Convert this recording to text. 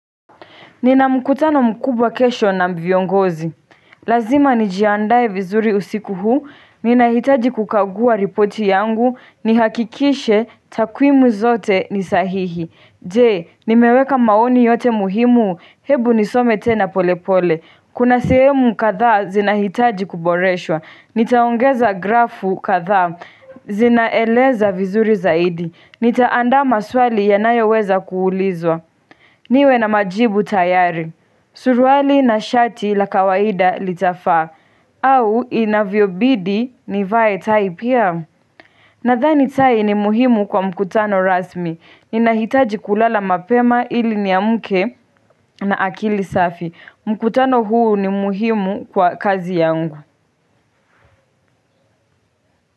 Nina mkutano mkubwa kesho na viongozi. Lazima nijiandae vizuri usiku huu, ninahitaji kukagua ripoti yangu nihakikishe takuimu zote ni sahihi. Je, nimeweka maoni yote muhimu, hebu nisome tena pole pole. Kuna sehemu kadhaa zinahitaji kuboreshwa. Nitaongeza grafu kadhaa, zinaeleza vizuri zaidi. Nitaanda maswali yanayoweza kuulizwa. Niwe na majibu tayari, suruali na shati la kawaida litafaa, au inavyobidi nivae tai pia. Naahani tai ni muhimu kwa mkutano rasmi, ninahitaji kulala mapema ili niamke na akili safi. Mkutano huu ni muhimu kwa kazi yangu.